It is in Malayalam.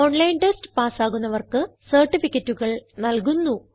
ഓൺലൈൻ ടെസ്റ്റ് പാസ്സാകുന്നവർക്ക് സർട്ടിഫികറ്റുകൾ നല്കുന്നു